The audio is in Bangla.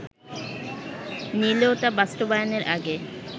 নিলেও তা বাস্তবায়নের আগে